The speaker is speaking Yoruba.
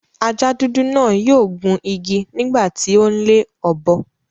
Ajá dúdú náà yio gun igi nígbà ti o n le ọ́bọ